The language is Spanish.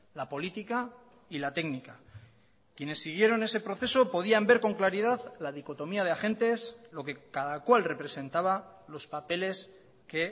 la política y la técnica quienes siguieron ese proceso podían ver con claridad la dicotomía de agentes lo que cada cual representaba los papeles que